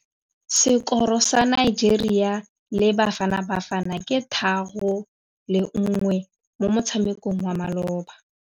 Sekôrô sa Nigeria le Bafanabafana ke 3-1 mo motshamekong wa malôba.